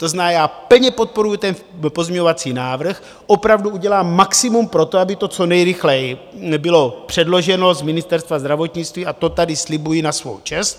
To znamená, já plně podporuji ten pozměňovací návrh, opravdu udělám maximum pro to, aby to co nejrychleji bylo předloženo z Ministerstva zdravotnictví, a to tady slibuji na svou čest.